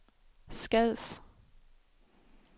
Skads